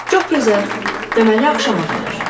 Çox gözəl, deməli axşama qədər.